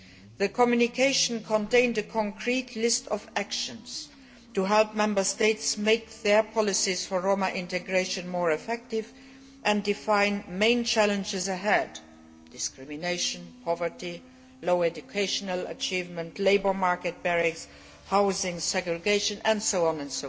The communication contained a concrete list of actions to help Member States make their policies for Roma integration more effective and to define the main challenges ahead discrimination, poverty, low educational achievement, labour market barriers, housing, segregation, and so on.